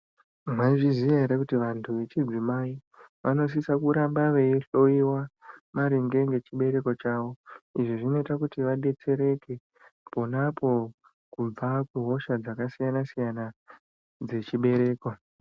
Maizviziya ere kuti vantu vechidzimai vanosise kuramba vei hloiwa maringe nechibereko chavo izvi zvinoita kuti chibetsereke pona apo kubva kuhosha dzakasiyana siyana dzezvibereko.